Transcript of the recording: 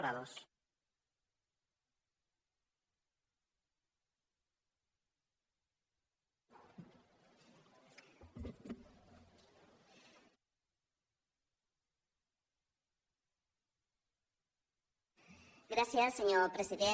gràcies senyor president